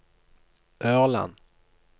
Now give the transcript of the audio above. Ørland